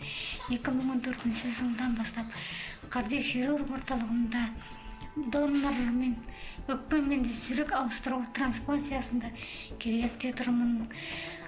екі мың он төртінші жылдан бастап кардиохирург орталығында донор мен өкпе мен жүрек ауыстыру транплантациясында кезекте тұрмын